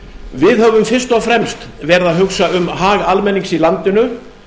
við höfum fyrst og fremst verið að hugsa um hag almennings í landinu